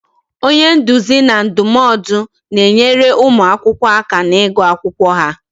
Onye nduzi na ndụmọdụ na-enyere ụmụ akwụkwọ aka n'igu akwụkwọ ha